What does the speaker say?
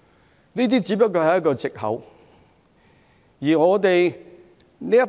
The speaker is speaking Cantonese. "只是一個藉口。